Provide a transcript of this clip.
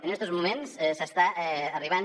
en estos moments s’està arribant